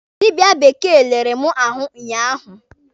Dịbịa bekee lere mụ ahụ ụnyaahụ.